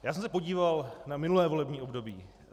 Já jsem se podíval na minulé volební období.